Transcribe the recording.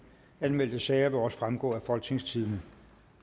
anmeldte sager vil også fremgå af folketingstidende